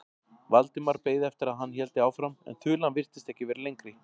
Valdimar beið eftir að hann héldi áfram en þulan virtist ekki vera lengri.